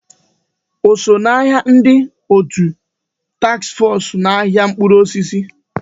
O so ná ndị òtù taks fọs ahịa mkpụrụ osisi?